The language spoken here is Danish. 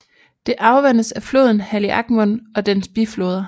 Det afvandes af floden Haliacmon og dens bifloder